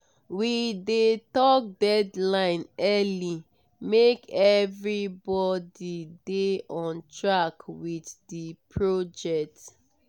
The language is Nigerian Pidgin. we dey talk deadline early make everybody dey on track with the project.